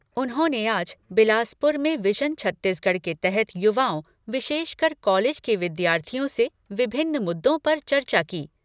उन्होंने आज बिलासपुर में विजन छत्तीसगढ़ के तहत युवाओं, विशेषकर कॉलेज के विद्यार्थियों से विभिन्न मुद्दों पर चर्चा की।